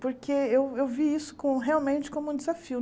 Porque eu eu vi isso com realmente como um desafio.